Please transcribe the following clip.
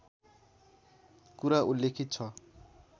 कुरा उल्लेखित छ